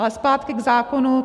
Ale zpátky k zákonu.